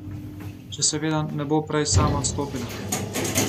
Če seveda ne bo prej sama odstopila.